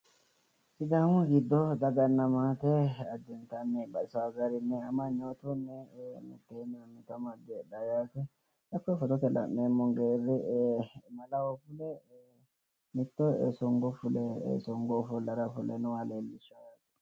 Sidaamu giddo daganna maate addintanni baxisaa garinni heedhaa yaate amanyootunni budunni heedhawo yaate. Xa koye footote la'neemmo geerri malaho fule mittee songo fule nooha leellishawo yaate.